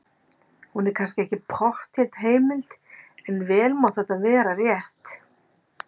Hún er kannski ekki pottþétt heimild, en vel má þetta vera rétt.